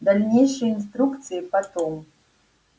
дальнейшие инструкции потом